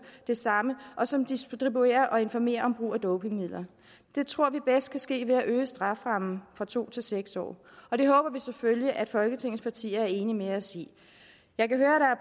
det samme og som distribuerer og informerer om brug af dopingmidler det tror vi bedst kan ske ved at øge strafferammen fra to til seks år og det håber vi selvfølgelig at folketingets partier er enige med os i jeg kan høre at